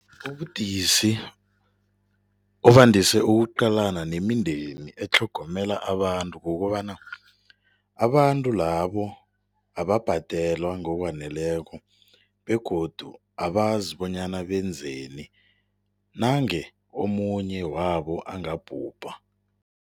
Ubudisi obandise ukuqalana nemindeni etlhogomela abantu kukobana abantu labo ababhadelwa ngokwaneleko begodu abazi bonyana benzeni nange omunye wabo angabhubha.